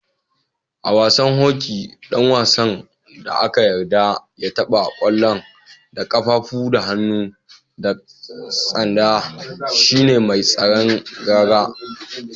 A'wasan hoki dan wasan da ana yarda ya tabba kwallon da kafafu, hannu da tsanda shine mai tsaron raga.